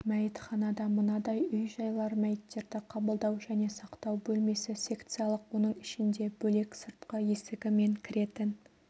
мәйітханада мынадай үй-жайлар мәйіттерді қабылдау және сақтау бөлмесі секциялық оның ішінде бөлек сыртқы есігі мен кіретін